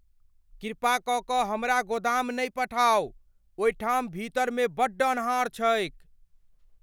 कृपा क के हमरा गोदाम नहि पठाउ। ओहिठाम भीतर मे बड्ड अन्हार छैक।